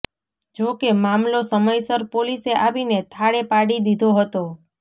જોકે મામલો સમયસર પોલીસે આવીને થાળે પાડી દીધો હતો